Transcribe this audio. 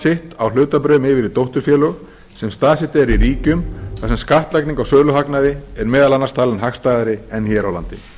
sitt á hlutabréfum yfir í dótturfélög sem staðsett eru í ríkjum þar sem skattlagning á söluhagnaði er meðal annars talin hagstæðari en hér á landi